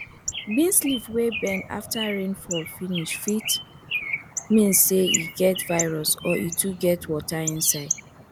beans leave wey bend after rain fall finish fit meas say say e get virus or e too get water inside